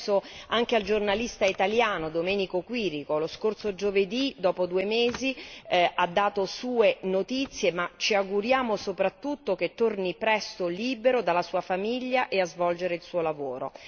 Penso anche al giornalista italiano, Domenico Quirico, lo scorso giovedì dopo due mesi ha dato sue notizie, ma ci auguriamo soprattutto che torni presto libero dalla sua famiglia e a svolgere il suo lavoro